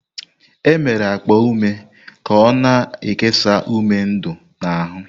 E mere akpa ume ka o-na ekesa ume ndu n'ahụ.